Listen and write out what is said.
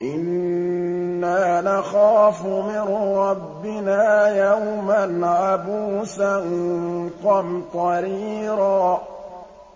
إِنَّا نَخَافُ مِن رَّبِّنَا يَوْمًا عَبُوسًا قَمْطَرِيرًا